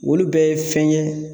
Olu bɛɛ ye fɛn ye